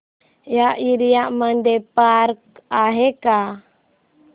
या एरिया मध्ये पार्क आहे का